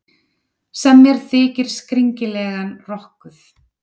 sem mér þykir skringilega rokkuð.